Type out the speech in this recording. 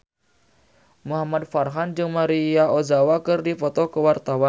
Muhamad Farhan jeung Maria Ozawa keur dipoto ku wartawan